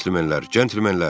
Cəntilmenlər, cəntilmenlər!